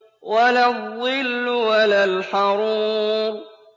وَلَا الظِّلُّ وَلَا الْحَرُورُ